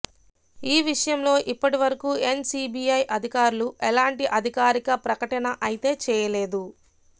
ఈ విషయంలో ఇప్పటి వరకు ఎన్ సీ బీ అధికారులు ఎలాంటి అధికారిక ప్రకటన అయితే చేయలేదు